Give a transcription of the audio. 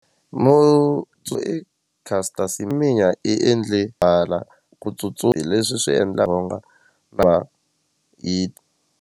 i Caster Semenya i endle hala ku hi leswi swi endlaka u nga va .